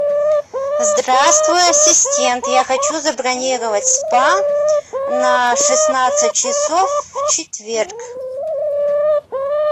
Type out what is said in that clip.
здравствуй ассистент я хочу забронировать спа на шестнадцать часов в четверг